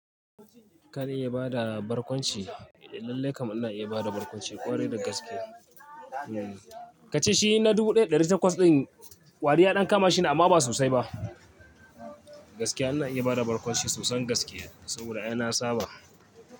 Kana iya bada barkwanci, lallai kam ina iya bada barkwanci ƙwarai da gaske. Kace shi na dubu ɗaya da ɗari takwas ɗin kwari ya ɗan kama shi ne amma ba sosai ba. Gaskiya ana iya bada barkwanci sosan gaskiya saboda ai na saba.